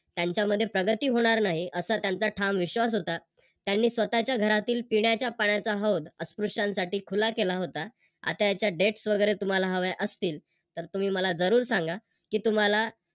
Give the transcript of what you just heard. त्यांच्यामध्ये प्रगती होणार नाही असा त्यांचा ठाम विश्वास होता. त्यांनी स्वतःच्या घरातील पिण्याच्या पाण्याचा हौद अस्पृश्यांसाठी खुला केला होता. आता याच्या Dates वगैरे तुम्हाला हव्या असतील तर तुम्ही मला जरूर सागा कि तुम्हाला